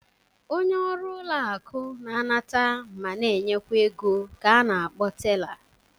Onye ọrụ ụlọ akụ na-anata ma na-enyekwa ego ka a na-akpọ tela.